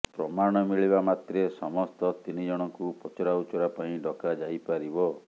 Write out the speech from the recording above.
ପ୍ରମାଣ ମିଳିବା ମାତ୍ରେ ସମସ୍ତ ତିନିଜଣଙ୍କୁ ପଚରାଉଚରା ପାଇଁ ଡକାଯାଇପାରିବ